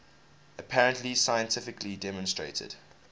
apparently scientifically demonstrated